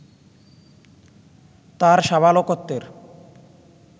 তার সাবালকত্বের